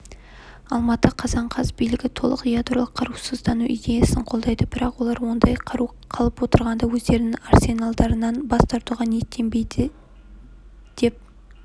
алматы қазан қаз билігі толық ядролық қарусыздану идеясын қолдайды бірақ олар ондай қару қалып отырғанда өздерінің арсеналдарынан бас тартуға ниеттенбейді деп